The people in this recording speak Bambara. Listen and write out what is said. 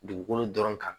Dugukolo dɔrɔn kan